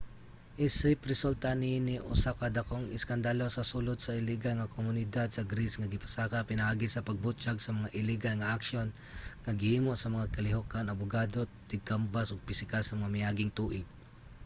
isip resulta niini usa ka dakong iskandalo sa sulod sa ligal nga komunidad sa greece ang gipasaka pinaagi sa pagbutyag sa mga iligal nga aksyon nga gihimo sa mga kalihukan abogado tigkambas ug piskal sa mga miaging tuig